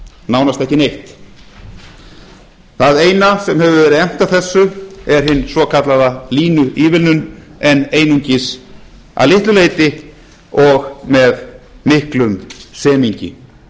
nánast ekki neitt það eina sem hefur verið efnt af þessu er hin svokallaða línuívilnun en einungis að litlu leyti og með miklum semingi núna